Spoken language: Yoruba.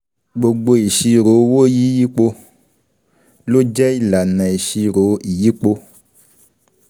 gbogbo ìṣirò owó yíyípo ló jẹ́ ìlànà ìṣirò ìyípo.